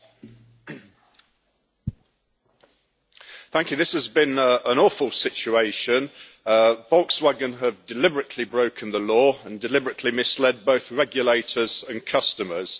Mr President, this has been an awful situation. Volkswagen have deliberately broken the law and deliberately misled both regulators and customers.